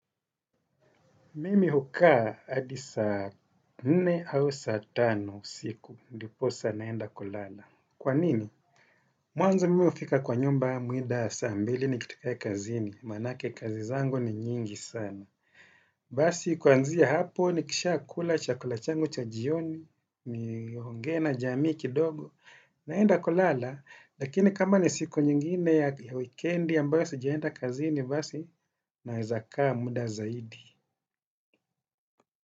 Mimi hukaa hadi saa nne au saa tano siku ndiposa naenda kulala. Kwa nini? Mwanzo mimi hufika kwa nyumba mida saa mbili nikitokea kazini. Manake kazi zango ni nyingi sana. Basi kuanzia hapo nikisha kula chakula changu cha jioni, niongee na jamii kidogo, naenda kulala. Lakini kama ni siku nyingine ya weekend ambayo sijaenda kazini basi naeze kaa muda zaidi.